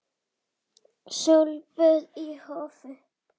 Sólböð í hófi.